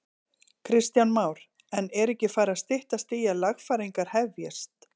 Kristján Már: En er ekki farið að styttast í að lagfæringar hefjist?